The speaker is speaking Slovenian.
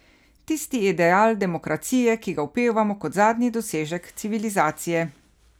Tisti ideal demokracije, ki ga opevamo kot zadnji dosežek civilizacije.